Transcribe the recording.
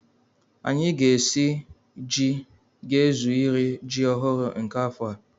Anyị ga-esi ji ga-ezu iri ji ọhụrụ nke afọ a.